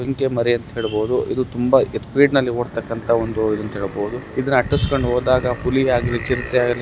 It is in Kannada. ಜಿಂಕೆ ಮರಿ ಅಂತ ಹೇಳಬಹುದು ಇದು ತುಂಬಾ ಯಥೇಚ್ಛವಾಗಿ ಓಡತಕ್ಕಂತಹ ಒಂದು ಇದು ಅಂತ ಹೇಳಬಹುದು. ಇದನ್ನ ಅಟ್ಟಿಸಿಕೊಂಡು ಹೋದಾಗ ಹುಲಿ ಆಗ್ಲಿ ಚಿರತೆ ಆಗ್ಲಿ--